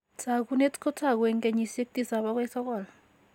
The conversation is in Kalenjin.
Taakunet kotagu en kenyisiek tisap agoi sogol.